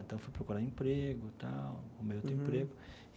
Então, fui procurar emprego e tal, arrumei outro emprego.